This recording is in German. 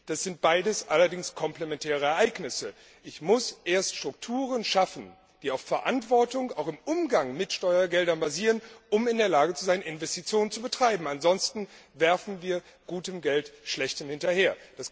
Das sind allerdings komplementäre Ereignisse Ich muss erst Strukturen schaffen, die auf Verantwortung, auch im Umgang mit Steuergeldern, basieren, um in der Lage zu sein, Investitionen zu betreiben, ansonsten werfen wir gutes Geld schlechtem hinterher.